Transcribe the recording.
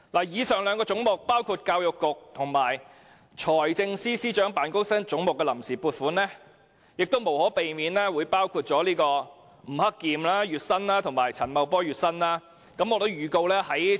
以上兩個涉及教育局和財政司司長辦公室總目的臨時撥款，無可避免包含吳克儉和陳茂波的月薪。